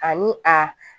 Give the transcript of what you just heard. Ani a